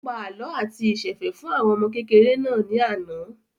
Ó pa àlọ́ àti ìsẹ̀fẹ̀ fún àwọn ọmọ kékèké náà ní àná